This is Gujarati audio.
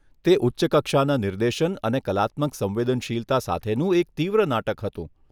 તે ઉચ્ચ કક્ષાના નિર્દેશન અને કલાત્મક સંવેદનશીલતા સાથેનું એક તીવ્ર નાટક હતું.